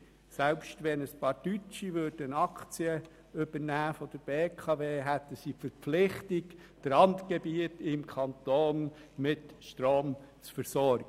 Selbst wenn einige Deutsche Aktien der BKW übernehmen würden, hätten sie die Verpflichtung, die Randgebiete im Kanton mit Strom zu versorgen.